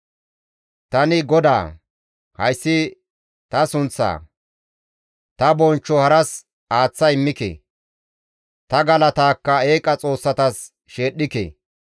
«Tani GODAA; hayssi ta sunththa; ta bonchcho haras aaththa immike; ta galataakka eeqa xoossatas sheedhdhike.